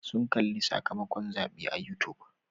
Sun kalli sakamakon zaɓen a youtube.